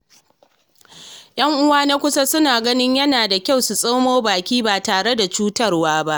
Yan'uwa na kusa suna ganin yana da kyau su tsoma baki ba tare da cutarwa ba.